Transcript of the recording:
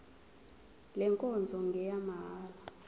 le nkonzo ngeyamahala